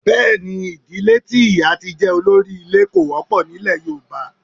Bẹ́ẹ̀ ni, ìdílé tí ìyá tí jẹ́ olórí ilé kò wọ́pọ̀ ní ilẹ̀ Yorùbá.